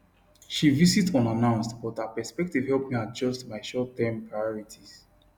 she visit unannounced but her perspective help me adjust my shortterm priorities